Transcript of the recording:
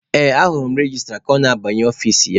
Ee, ahụrụ m registra ka ọ na-abanye ọfici ya.